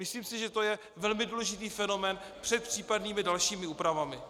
Myslím si, že to je velmi důležitý fenomén před případnými dalšími úpravami.